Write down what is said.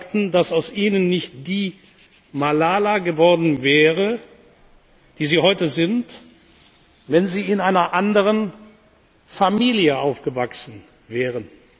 Sie sagten, dass aus Ihnen nicht die Malala geworden wäre, die Sie heute sind, wenn Sie in einer anderen Familie aufgewachsen wären.